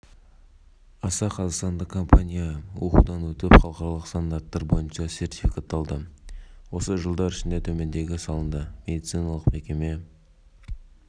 әлеуметтік жауапкершілік аясында консорциум маңғыстау және атырау облыстарының әлеуметтік және инфрақұрылымдық дамуына млн долларынан астам қаражат